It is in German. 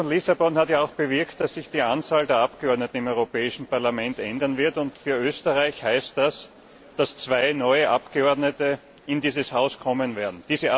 Der Vertrag von Lissabon hat ja auch bewirkt, dass sich die Anzahl der Abgeordneten im Europäischen Parlament ändern wird, und für Österreich heißt das, dass zwei neue Abgeordnete in dieses Haus kommen werden.